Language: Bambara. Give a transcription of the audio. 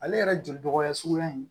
Ale yɛrɛ joli dɔgɔya suguya in